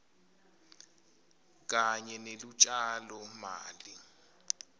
kanye nelutjalo mali